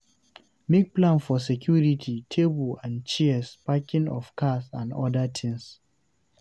Make plans for security, table and chairs, parking of cars and oda things